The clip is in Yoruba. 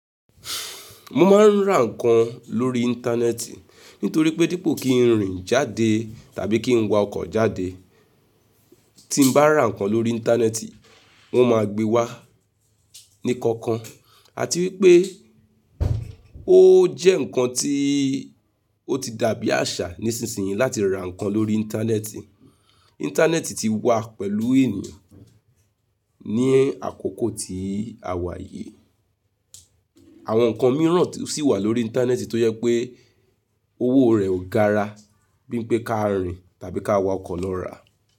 Mo máa ń ra ǹkan lórí Íńtánẹ́ẹ̀tì nítorí pé dípò kí n rìn jáde tàbí kí n wa ọkọ̀ jáde, tí ń bá ra ǹkan lórí Íńtánẹ́ẹ̀tì wọ́n máa gbé wá ní kankan. Àti wípé ó jẹ́ ǹkan tí ó ti dàbí àṣà nísinsìnyí láti ra ǹkan lórí Íńtánẹ́ẹ̀tì. Íńtánẹ́ẹ̀tì ti wà pẹ̀lú ènìyàn ní àkókò tí a wà yìí. Àwọn ǹkan mìíràn sì wà lórí Íńtánẹ́ẹ̀tì tó yẹ pé owó rẹ̀ ó gara bíi pé ká rìn tàbí ká wa ọkọ̀ lọ rà.